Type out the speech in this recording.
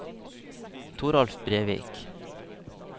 Toralf Brevik